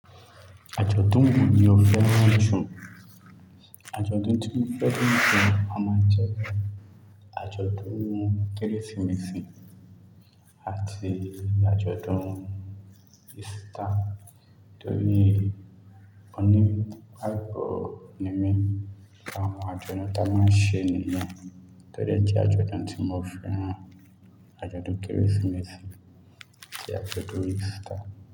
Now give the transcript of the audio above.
Àjọ̀dún wo ni o fẹ́ràn jù? Àjọ̀dún tí mo fẹ́ràn jù a máa ń jẹ́ àjọ̀dún Kérésìmesì àti àjọ̀dún Easter, torí ó ní àgbo ními. Awọn àjọ̀dún tí a máa ń ṣe níyẹ̀n tó jẹ́ àjọ̀dún tí mo fẹ́ràn, àjọ̀dún Kérésìmesì àti àjọ̀dún Easter.